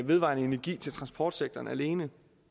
vedvarende energi til transportsektoren alene